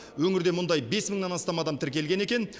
өңірде мұндай бес мыңнан астам адам тіркелген екен